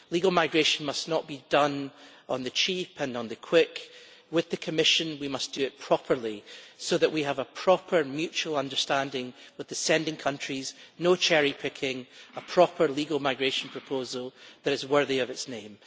Legal migration must not be done on the cheap and on the quick. With the Commission we must do it properly, so that we have a proper mutual understanding with the sending countries no cherry picking, a proper legal migration proposal that is worthy of its name.